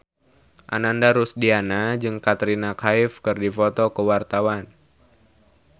Ananda Rusdiana jeung Katrina Kaif keur dipoto ku wartawan